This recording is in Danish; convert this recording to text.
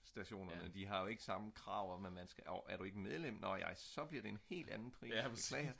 stationerne de har jo ikke samme krav om nå ej er du ikke medlem så bliver det en helt anden pris beklager